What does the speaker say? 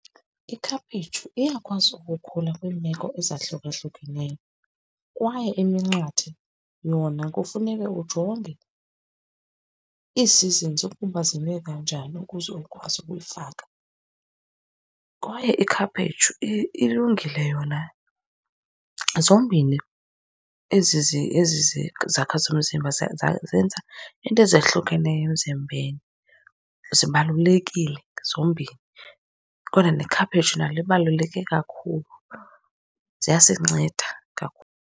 Ikhaphetshu iyakwazi ukukhula kwiimeko ezahlukahlukeneyo, kwaye iminqathe yona kufuneke ujonge ii-seasons ukuba zime kanjani ukuze ukwazi ukuyifaka. Kwaye ikhaphetshu ilungile yona. Zombini ezi ezi zakha zomzimba zenza iinto ezahlukeneyo emzimbeni. Zibalulekile zombini, kodwa nekhaphetshu nalo libaluleke kakhulu. Ziyasinceda .